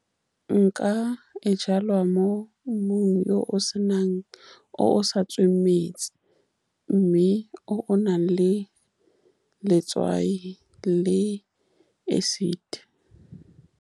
Nka e jala mo mmung yo o senang, o o sa tsweng metsi, mme o o nang le letswai le acid.